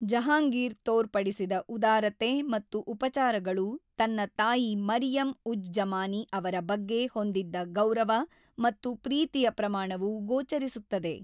ಜಹಾಂಗೀರ್ ತೋರ್ಪಡಿಸಿದ ಉದಾರತೆ ಮತ್ತು ಉಪಚಾರಗಳು ತನ್ನ ತಾಯಿ ಮರಿಯಂ-ಉಜ್-ಜಮಾನಿ ಅವರ ಬಗ್ಗೆ ಹೊಂದಿದ್ದ ಗೌರವ ಮತ್ತು ಪ್ರೀತಿಯ ಪ್ರಮಾಣವು ಗೋಚರಿಸುತ್ತದೆ.